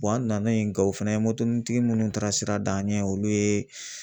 an nana yen Gawo fɛnɛ ye munnu taara sira d'an ɲɛ olu ye